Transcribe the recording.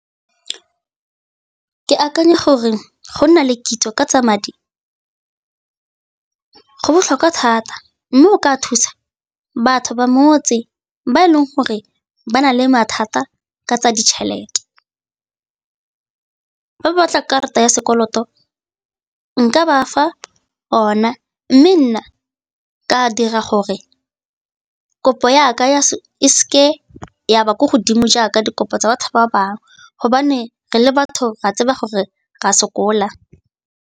Ke akanya gore go nna le kitso ka tsa madi go botlhokwa thata mme go ka thusa batho ba motse ba e leng gore ba na le mathata ka tsa ditšhelete. Fa ba batla karata ya sekoloto nka ba fa ona mme nna ka dira gore kopo ya ka e seke ya ba ko godimo jaaka dikopo tsa batho ba bangwe gobane re le batho ra tseba gore re a sokola.